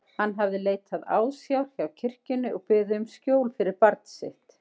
Hann hafði leitað ásjár hjá kirkjunni og beðið um skjól fyrir barn sitt.